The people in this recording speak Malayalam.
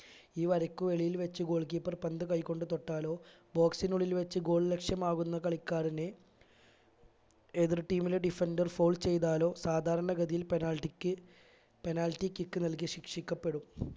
ഈ വര്ക്ക് വെളിയിൽ വെച്ച് goal keeper പന്ത് കൈകൊണ്ട് തൊട്ടാലോ box നുള്ളിൽ വെച്ച് goal ലക്ഷ്യമാക്കുന്ന കളിക്കാരനെ എതിർ team ലെ defender foul ചെയ്താലോ സാധാരണ ഗതിയിൽ penalty ക്ക് penalty kick നൽകി ശിക്ഷിക്കപ്പെടും